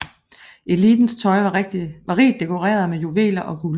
Elitens tøj var rigt dekoreret med juveler og guld